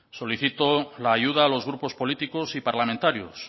solicitó la ayuda a los grupos políticos y parlamentarios